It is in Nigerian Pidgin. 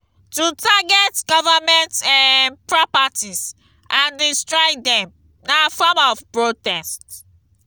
to target government um properties and destroy dem na form of protest